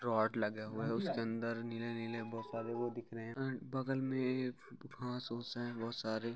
rod लगे हुए है उसके अंदर नीले नीले बहुत सारे वो दिख रहे है एंड बगल में एक घास उस है बहुत सारे--